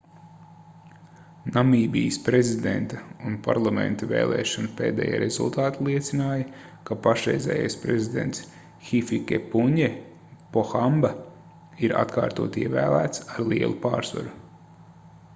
namībijas prezidenta un parlamenta vēlēšanu pēdējie rezultāti liecināja ka pašreizējais prezidents hifikepunje pohamba ir atkārtoti ievēlēts ar lielu pārsvaru